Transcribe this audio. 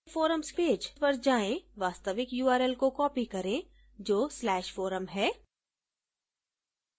forums page पर जाएँ वास्तविक url को copy करें जो /forum है